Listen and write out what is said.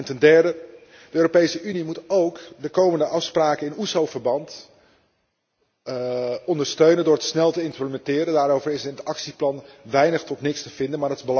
Ten derde, de Europese Unie moet ook de komende afspraken in OESO verband ondersteunen door deze snel te implementeren. Daarover is in het actieplan weinig tot niks te vinden.